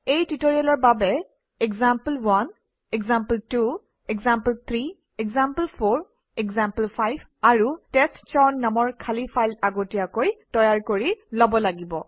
এই টিউটৰিয়েলৰ বাবে example one example two example three example four example five আৰু টেষ্টচাউন নামৰ খালী ফাইল আগতীয়াকৈ তৈয়াৰ কৰি লব লাগিব